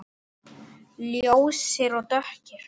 Ljósir og dökkir.